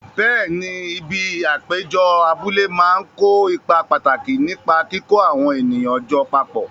Bẹẹ̀ni, ibi ìpéjọ abúlé máa ń kó ipa pàtàkì nípa kíkó àwọn ènìyàn jọ papọ̀.